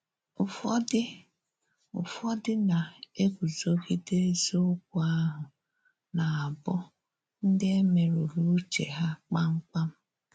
Ụ́fọ̀dị̀ Ụ́fọ̀dị̀ na-egùzogìde ezìokwu ahụ, na-abụ “ndị e mèrùrù ụ̀chè hà kpamkpam.”